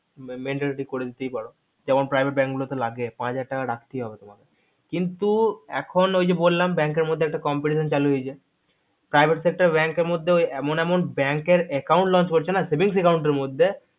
mandatory করে দিতেই পারো যেমন গুলোতে লাগে পাঁচ হাজার টাকা রাখতেই হবে তোমাকে কিন্তু এখন ওই যে বললাম bank এর মধ্যে একটা competition চালু হয়েছে privare sector bank এর মধ্যে ঐ এমন এমন bank এর account launch করছে না saving account এর মধ্যে